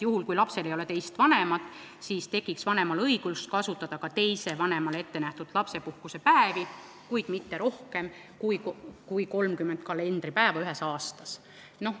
Kui lapsel ei ole teist vanemat, siis tekiks vanemal õigus kasutada ka teisele vanemale ettenähtud lapsepuhkusepäevi, kuid mitte rohkem kui 30 kalendripäeva ühes aastas.